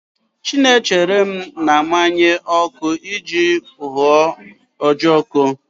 Chinemelum na-amụnye ọkụ iji hụọ ojoko